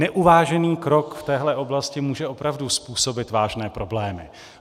Neuvážený krok v téhle oblasti může opravdu způsobit vážné problémy.